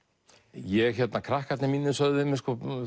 ég hérna krakkarnir mínir sögðu við mig